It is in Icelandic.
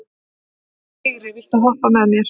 Vigri, viltu hoppa með mér?